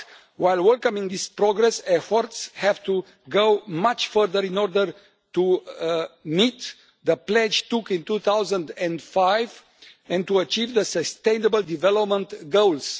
While welcoming this progress, efforts have to go much further in order to meet the pledge taken in 2005 and to achieve the sustainable development goals.